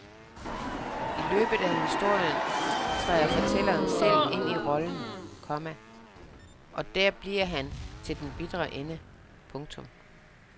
I løbet af historien træder fortælleren selv ind i rollen, komma og der bliver han til den bitre ende. punktum